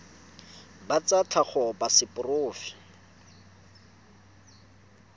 ba tsa tlhago ba seporofe